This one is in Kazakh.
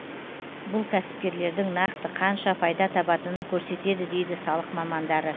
бұл кәсіпкерлердің нақты қанша пайда табатынын көрсетеді дейді салық мамандары